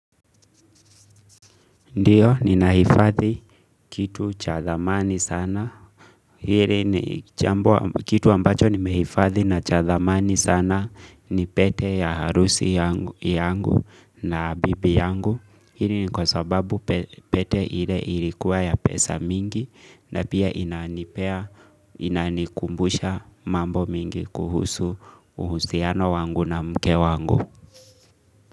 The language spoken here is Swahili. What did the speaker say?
Ndiyo, ninahifadhi kitu cha thamani sana. Hili ni kitu ambacho nimehifadhi na cha dhamani sana ni pete ya harusi yangu na bibi yangu. Hili ni kwa sababu pete ile ilikuwa ya pesa mingi na pia inanikumbusha mambo mingi kuhusu uhusiano wangu na mke wangu.